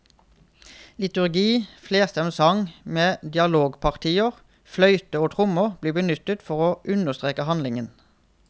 Liturgi, flerstemt sang med dialogpartier, fløyte og tromme blir benyttet for å understreke handlingen.